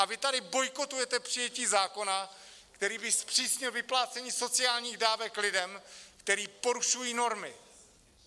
A vy tady bojkotujete přijetí zákona, který by zpřísnil vyplácení sociálních dávek lidem, kteří porušují normy!